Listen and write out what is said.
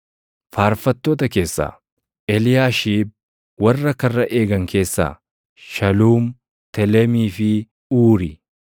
Faarfattoota keessaa: Eliyaashiib. Warra karra eegan keessaa: Shaluum, Telemii fi Uuri.